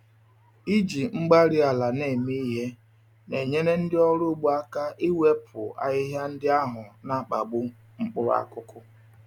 Iji igwe-mgbárí-ala na-eme ihe na-enyere ndị ọrụ ugbo aka iwepụ ahịhịa ndị ahụ n'akpagbu mkpụrụ akụkụ